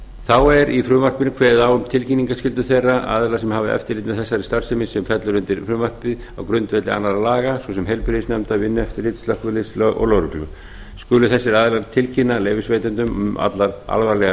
þá er í frumvarpinu kveðið á um tilkynningarskyldu þeirra aðila sem hafa eftirlit með þessari starfsemi sem fellur undir frumvarpið á grundvelli annarra laga svo sem heilbrigðisnefndar vinnueftirlits slökkviliðs og lögreglu skulu þessir aðilar tilkynna leyfisveitendum um allar alvarlegar